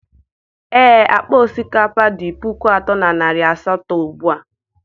ee, akpa osikapa dị puku atọ na narị asatọ ugbu a